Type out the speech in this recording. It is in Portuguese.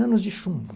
Anos de chumbo.